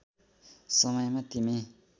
समयमा तिमी